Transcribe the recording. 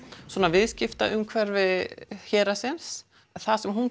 viðskiptaumhverfi héraðsins það sem hún